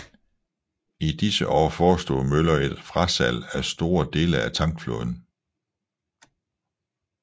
I disse år forestod Møller et frasalg af store dele af tankflåden